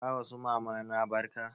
Ka wa su mamana barka?